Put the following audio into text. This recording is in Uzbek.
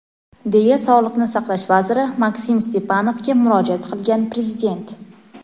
deya Sog‘liqni saqlash vaziri Maksim Stepanovga murojaat qilgan Prezident.